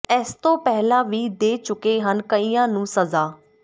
ਇਸ ਤੋਂ ਪਹਿਲਾਂ ਵੀ ਦੇ ਚੁਕੇ ਹਨ ਕਈਆਂ ਨੂੰ ਸਜ਼ਾ